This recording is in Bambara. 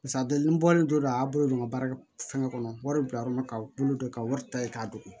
Paseke a don bɔlen don a bolo don ka baara kɛ fɛnkɛ kɔnɔ wari bɛ bila yɔrɔ min na ka bolo don ka wari ta yen k'a don